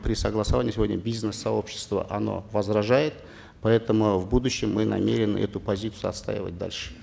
при согласовании сегодня бизнес сообщество оно возражает поэтому в будущем мы намерены эту позицию отстаивать дальше